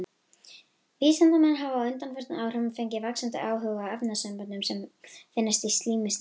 Vísindamenn hafa á undanförnum áhrifum fengið vaxandi áhuga á efnasamböndum sem finnast í slími snigla.